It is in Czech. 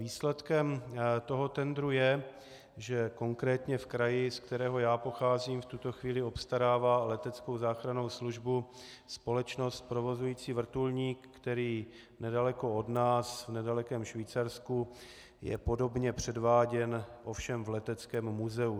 Výsledkem toho tendru je, že konkrétně v kraji, z kterého já pocházím, v tuto chvíli obstarává leteckou záchrannou službu společnost provozující vrtulník, který nedaleko od nás, v nedalekém Švýcarsku, je podobně předváděn, ovšem v leteckém muzeu.